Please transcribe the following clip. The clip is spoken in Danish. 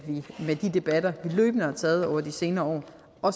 debatter vi løbende har taget over de senere år